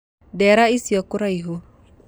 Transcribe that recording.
Ndeera icio kũraihu